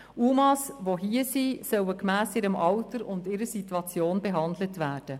UMA die hier sind, sollen gemäss ihrem Alter und ihrer Situation behandelt werden.